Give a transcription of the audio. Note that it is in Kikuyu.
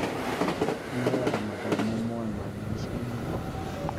Moyaga mathomo mwanya maicainĩ